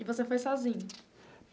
E você foi sozinho?